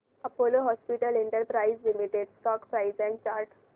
Apollo hospitals enterprise limited stock price and chart